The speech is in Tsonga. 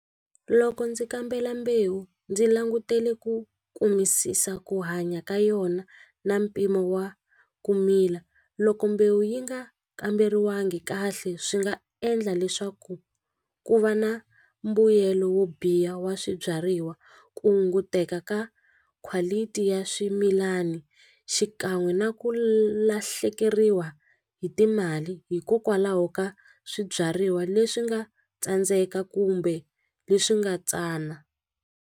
Loko ndzi kambela mbewu ndzi langutele ku kumisisa ku hanya ka yona na mpimo wa ku mila loko mbewu yi nga kamberiwangi kahle swi nga endla leswaku ku va na mbuyelo wo biha wa swibyariwa ku hunguteka ka quality ya swimilana xikan'we na ku lahlekeriwa hi timali hikokwalaho ka swibyariwa leswi nga tsandzeka kumbe leswi nga tsana.